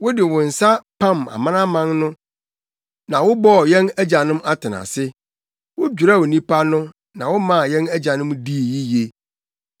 Wode wo nsa pam amanaman no na wobɔɔ yɛn agyanom atenase; wodwerɛw nnipa no na womaa yɛn agyanom dii yiye.